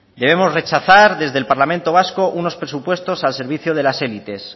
debemos rechazar desde el parlamento vasco unos presupuestos al servicio de las élites